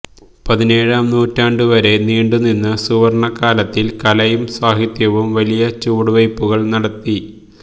പതിനേഴാം നൂറ്റാണ്ടുവരെ നീണ്ടുനിന്ന സുവർണകാലത്തിൽ കലയും സാഹിത്യവും വലിയ ചുവടുവയ്പുകൾ നടത്തി